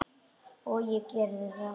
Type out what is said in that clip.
Og ég gerði það.